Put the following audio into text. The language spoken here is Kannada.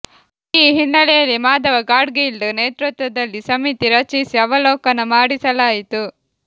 ಈ ಹಿನ್ನೆಲೆಯಲ್ಲಿ ಮಾಧವ ಗಾಡ್ಗೀಲ್ ನೇತೃತ್ವದಲ್ಲಿ ಸಮಿತಿ ರಚಿಸಿ ಅವಲೋಕನ ಮಾಡಿಸಲಾಯಿತು